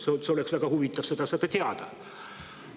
Seda oleks väga huvitav teada saada.